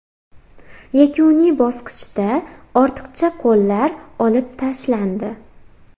Yakuniy bosqichda ortiqcha qo‘llar olib tashlandi.